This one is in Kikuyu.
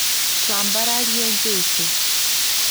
Ţwambararĩe jesũ